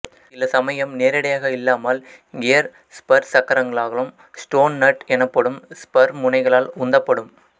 சிலசமயம் நேரடியாக இல்லாமல்கியர் ஸ்பர் சக்கரங்களாலும் ஸ்டோன் நட் எனப்படும் ஸ்பர் முனைகளால் உந்தப்படும்